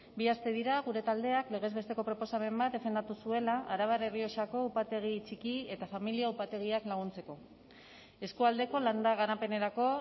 bi aste dira gure taldeak legez besteko proposamen bat defendatu zuela arabar errioxako upategi txiki eta familia upategiak laguntzeko eskualdeko landa garapenerako